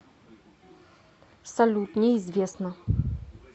салют неизвестно